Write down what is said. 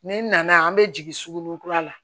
Ni n nana an be jigin suguni kura la